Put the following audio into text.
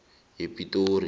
yepitori